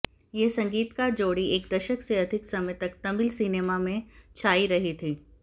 यह संगीतकार जोड़ी एक दशक से अधिक समय तक तमिल सिनेमा में छाई रही थी